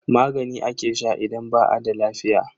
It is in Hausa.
Magani ake sha idan ba a da lafiya.